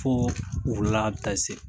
Fo wula bɛ taa se.